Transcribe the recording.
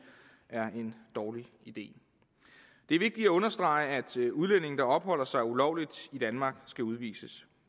er en dårlig idé det er vigtigt at understrege at udlændinge der opholder sig ulovligt i danmark skal udvises